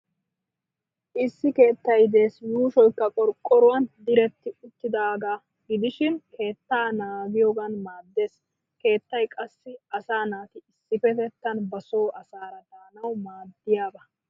Issi keettay des yuushoykka qorqqoruwan diretti uttidaagaa gidishin keettaa naagiyoogan maaddes. Keettay qassi asaa naati issippetettan ba so asaara daanawu maaddiyaaba